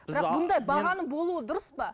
бұндай бағаның болуы дұрыс па